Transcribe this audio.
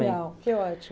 que ótimo.